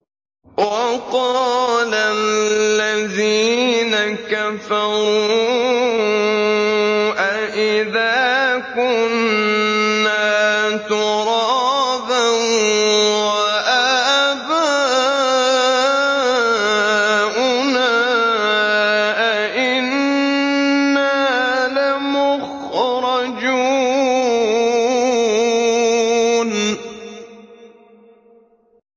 وَقَالَ الَّذِينَ كَفَرُوا أَإِذَا كُنَّا تُرَابًا وَآبَاؤُنَا أَئِنَّا لَمُخْرَجُونَ